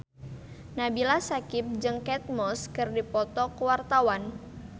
Nabila Syakieb jeung Kate Moss keur dipoto ku wartawan